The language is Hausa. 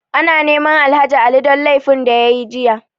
Ana neman Alhaji Ali don laifin da ya yi jiya.